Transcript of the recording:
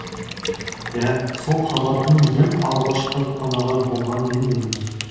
иә сол хабардың ең алғашқы қонағы болған мен едім